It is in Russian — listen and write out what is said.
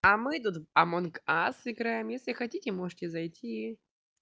а мы тут амонг ас играем если хотите можете зайти